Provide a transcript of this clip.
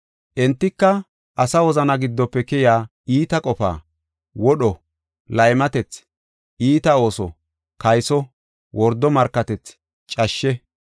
Entika:- asa wozana giddofe keyiya iita qofa, wodho, laymatethi, iita ooso, kayso, wordo markatethi, cashshe.